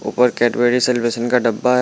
ऊपर Cadbury celebration का डब्बा है।